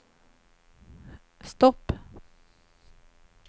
stopp